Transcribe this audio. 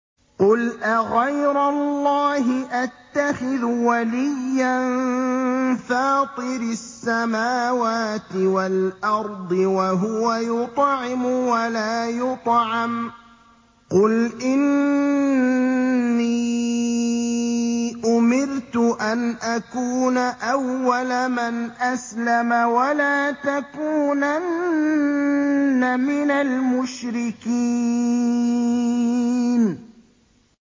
قُلْ أَغَيْرَ اللَّهِ أَتَّخِذُ وَلِيًّا فَاطِرِ السَّمَاوَاتِ وَالْأَرْضِ وَهُوَ يُطْعِمُ وَلَا يُطْعَمُ ۗ قُلْ إِنِّي أُمِرْتُ أَنْ أَكُونَ أَوَّلَ مَنْ أَسْلَمَ ۖ وَلَا تَكُونَنَّ مِنَ الْمُشْرِكِينَ